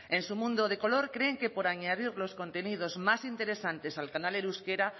en su mundo de color creen que por añadir los contenidos más interesantes al canal en euskera